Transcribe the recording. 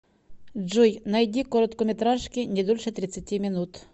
джой найди короткометражки не дольше тридцати минут